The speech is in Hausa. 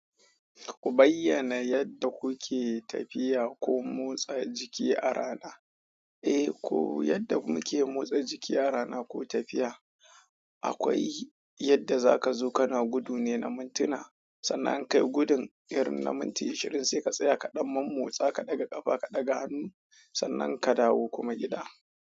Ku bayyana yadda kuke tafiya ko motsa jiki a rana. Eh ko yadda muke motsa jiki a rana ko tafiya, akwai yadda za ka zo kana gudu ne na mintuna, sannan ka yi gudun irin na minti ashirin sai ka tsaya ka ɗan mun motsa ka ɗaga ƙafa ka ɗaga hannu, sannan ka dawo kuma gida.